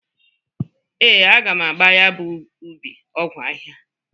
Ee, aga m agba ya bụ ubi ọgwọ ahịha.